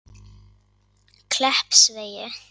Kleppsvegi